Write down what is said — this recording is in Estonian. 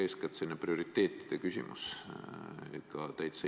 Eeskätt on tegu prioriteetide küsimusega.